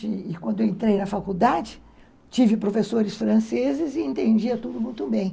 E quando eu entrei na faculdade, tive professores franceses e entendia tudo muito bem.